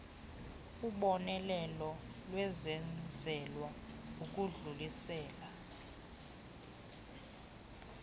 ubonelelo lwenzelwa ukudlulisela